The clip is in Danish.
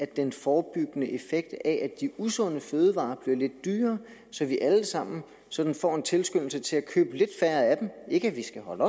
den forebyggende effekt at de usunde fødevarer bliver lidt dyrere så vi alle sammen sådan får en tilskyndelse til at købe lidt færre af dem ikke at vi skal holde